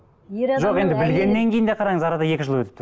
жоқ енді білгеннен кейін де қараңыз арада екі жыл өтіп тұр